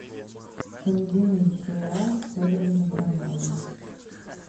комедийный сериал с федором добронравовым